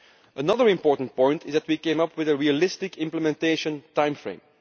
Another important point is that we came up with a realistic implementation timeframe.